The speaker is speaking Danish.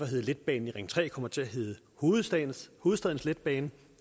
hedde letbanen i ring tre kommer til at hedde hovedstadens hovedstadens letbane